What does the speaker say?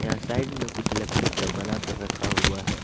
यहां साइड में कुछ लकड़ी का बना कर रखा हुआ है।